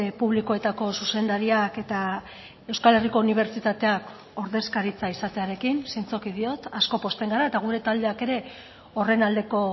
publikoetako zuzendariak eta euskal herriko unibertsitateak ordezkaritza izatearekin zintzoki diot asko pozten gara eta gure taldeak ere horren aldeko